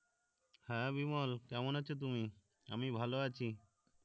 হ্যাঁ বিমল কেমন আছো তুমি আমি ভালো আছি